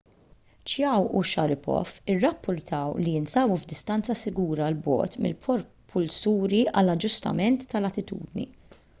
chiao u sharipov irrappurtaw li jinsabu f'distanza sigura l bogħod mill-propulsuri għall-aġġustament tal-attitudni